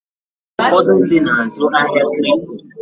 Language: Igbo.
Ụfọdụ ndị na-azụ ahịa Kripto.